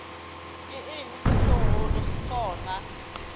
ke eng se segolo sona